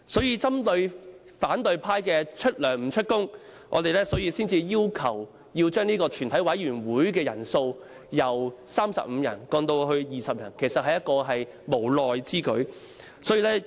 因此，針對反對派出糧不出勤的情況，我們才會要求把全體委員會的人數由35人降至20人，其實相當無奈。